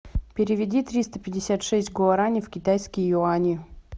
переведи триста пятьдесят шесть гуарани в китайские юани